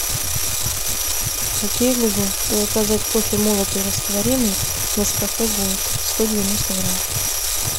окей гугл заказать кофе молотый растворимый нескафе голд сто девяносто грамм